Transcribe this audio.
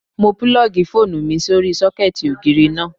Mo púlọ̀gì fóònù mi sórí sọ́kẹ̀tì ògiri náà